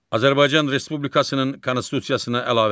Azərbaycan Respublikasının Konstitusiyasına əlavələr.